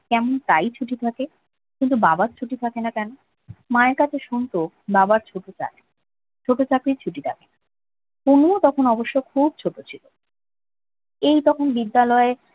কেমন তাই ছুটি থাকে কিন্তু বাবার ছুটি থাকে না কেন মায়ের কাছে শুনতো বাবার ছুটিটা ছোট চাকরির ছুটি থাকে পুনুও তখন অবশ্য খুব ছোট ছিল এই তখন বিদ্যালয়ের